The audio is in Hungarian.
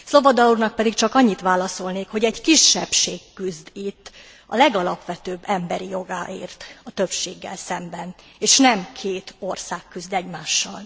Swoboda úrnak pedig csak annyit válaszolnék, hogy egy kisebbség küzd itt a legalapvetőbb emberi jogáért a többséggel szemben, és nem két ország küzd egymással.